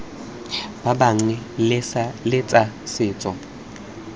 ba bangwe le tsa setso